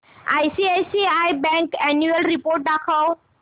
ICICI bank annual report दाखव